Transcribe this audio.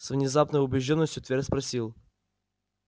с внезапной убеждённостью твер спросил